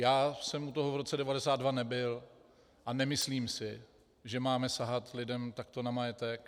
Já jsem u toho v roce 1992 nebyl a nemyslím si, že máme sahat lidem takto na majetek.